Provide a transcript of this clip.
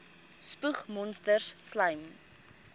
spoeg monsters slym